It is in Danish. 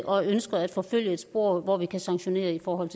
og ønsker at forfølge et spor hvor vi kan sanktionere i forhold